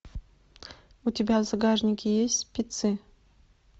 у тебя в загашнике есть спецы